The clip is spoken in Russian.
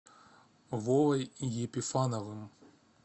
вовой епифановым